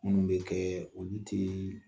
Munnu be kɛɛ olu tee